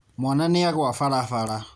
Mwana nĩagwa barabara..